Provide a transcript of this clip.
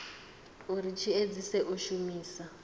uri tshi edzise u shumisa